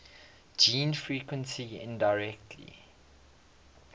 gene frequency indirectly